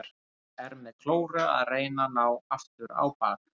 Er með klóru að reyna að ná aftur á bak.